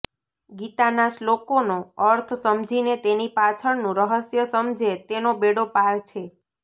ગીતાના શ્લોકોનો અર્થ સમજીને તેની પાછળનું રહસ્ય સમજે તેનો બેડો પાર છે